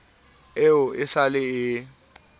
eo e sa le e